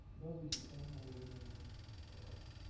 добби печально улыбнулся